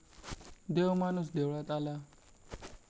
देव माणूस देवळात आला.